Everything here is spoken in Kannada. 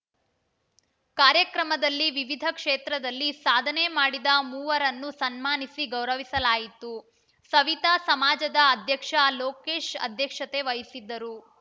ಕಾರ್ಯಕ್ರಮದಲ್ಲಿ ವಿವಿಧ ಕ್ಷೇತ್ರದಲ್ಲಿ ಸಾಧನೆ ಮಾಡಿದ ಮೂವರನ್ನು ಸನ್ಮಾನಿಸಿ ಗೌರವಿಸಲಾಯಿತು ಸವಿತಾ ಸಮಾಜದ ಅಧ್ಯಕ್ಷ ಲೋಕೇಶ್‌ ಅಧ್ಯಕ್ಷತೆ ವಹಿಸಿದ್ದರು